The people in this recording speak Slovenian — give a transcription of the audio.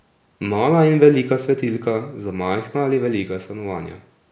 Mala in velika svetilka za majhna ali velika stanovanja.